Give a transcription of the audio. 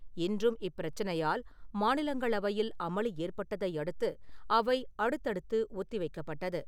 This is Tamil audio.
இன்றும் இப்பிரச்சனையால் மாநிலங்களவையில் அமளி ஏற்பட்டதை அடுத்து அவை அடுத்தடுத்து ஒத்தி வைக்கப்பட்டது.